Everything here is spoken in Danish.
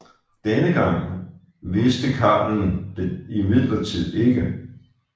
Denne gang vidste karlen det imidlertid ikke